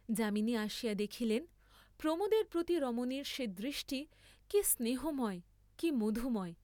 যামিনী আসিয়া দেখিলেন, প্রমোদের প্রতি রমণীর সে দৃষ্টি কি স্নেহময়, কি মধুময়!